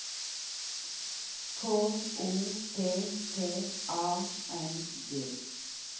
K O P P A N G